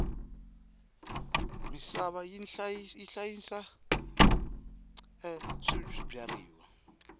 misava yi hlayisa swibyariwa